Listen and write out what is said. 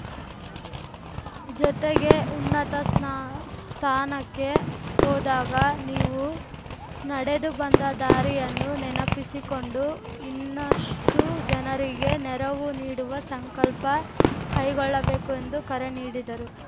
ಜೊತೆಗೆ ಉನ್ನತ ಸ್ನಾ ಸ್ಥಾನಕ್ಕೆ ಹೋದಾಗ ನೀವು ನಡೆದು ಬಂದ ದಾರಿಯನ್ನು ನೆನಪಿಸಿಕೊಂಡು ಇನ್ನಷ್ಟುಜನರಿಗೆ ನೆರವು ನೀಡುವ ಸಂಕಲ್ಪ ಕೈಗೊಳ್ಳಬೇಕು ಎಂದು ಕರೆ ನೀಡಿದರು